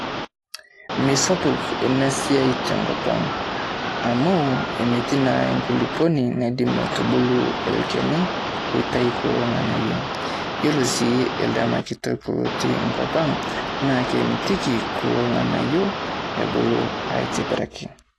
Misapuk ena siai tenkop ang' amu metii naa enkuluponi naidim aitubulu ilkeni oitayu kula ng'anayio. Yiolo sii ildama kitok otii enkop ang' naa kemitiki kulo ng'anayio ebulu aitibiraki.